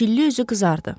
Çilli üzü qızardı.